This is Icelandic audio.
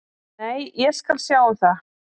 Nei, ég skal sjá um það.